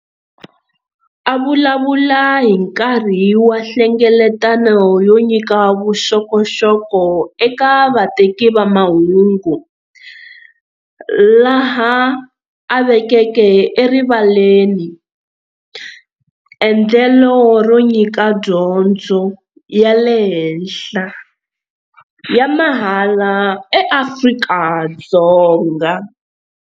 A vulavula hi nkarhi wa nhlengeletano yo nyika vuxokoxoko eka vateki va mahungu laha a vekeke erivaleni endlelo ro nyika dyondzo ya le henhla ya mahala eAfrika-Dzonga.